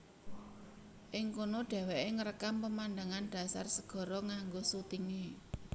Ing kono dheweke ngrekam pemandangan dhasar segara nganggo sutinge